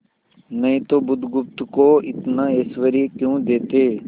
नहीं तो बुधगुप्त को इतना ऐश्वर्य क्यों देते